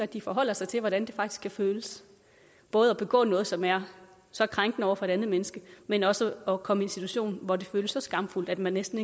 de forholde sig til hvordan det faktisk kan føles både at begå noget som er så krænkende over for et andet menneske men også at komme i en situation hvor det føles så skamfuldt at man næsten